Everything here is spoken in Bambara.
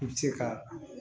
I bɛ se ka